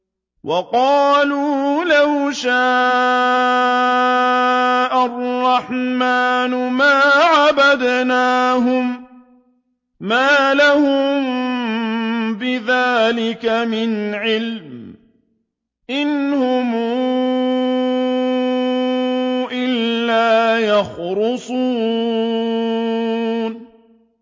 وَقَالُوا لَوْ شَاءَ الرَّحْمَٰنُ مَا عَبَدْنَاهُم ۗ مَّا لَهُم بِذَٰلِكَ مِنْ عِلْمٍ ۖ إِنْ هُمْ إِلَّا يَخْرُصُونَ